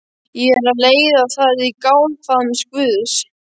Ég er að leiða það í náðarfaðm Guðs